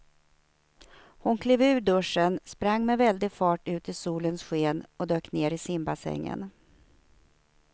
Hon klev ur duschen, sprang med väldig fart ut i solens sken och dök ner i simbassängen.